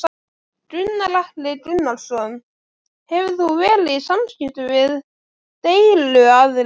Gunnar Atli Gunnarsson: Hefur þú verið í samskiptum við deiluaðila?